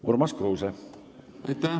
Urmas Kruuse, palun!